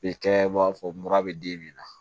E kɛ b'a fɔ mura bɛ den min na